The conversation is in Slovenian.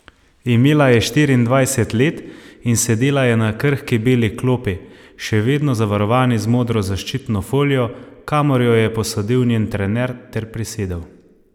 Imela je štiriindvajset let in sedela je na krhki beli klopi, še vedno zavarovani z modro zaščitno folijo, kamor jo je posadil njen trener ter prisedel.